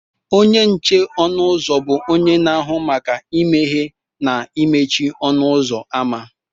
Onye nche ọnụ ụzọ bụ onye na-ahụ maka imeghe na imechi ọnụ ụzọ ámá